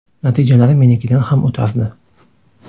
Natijalari menikidan ham o‘tardi.